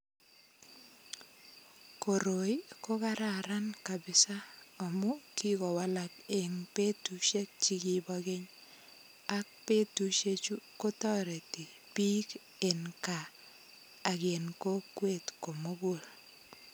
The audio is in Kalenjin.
Koroi ko kararan kabisa amu kikowalak eng betushek chekibo keny ak betushek chu kotoreti biik en kaa ak en kokwet komugul.